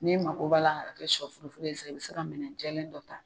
N'i mako b'a la a ka kɛ shɔ furu furu ye fana i bɛ se ka minɛn jɛlen dɔ ta.